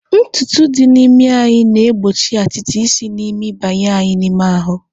Ntutu dị n'imi anyị na-egbochi atịtị isi n'imi banye anyị n'ime ahụ.